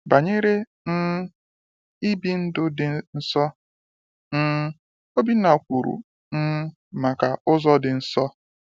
Banyere um I bi ndụ dị nsọ, um Obinna kwuru um maka “Ụzọ dị Nsọ.”